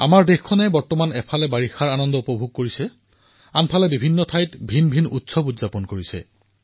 আমাৰ দেশে বিগত কিছুদিনৰ পৰা বৰ্ষাৰ আনন্দ উপভোগ কৰি আছে আৰু আনফালে ভাৰতৰ প্ৰতিটো কোণত কিবা নহয় কিবা এটা উৎসৱ চলিয়েই আছে আৰু এয়া দেৱালীলৈকে চলিব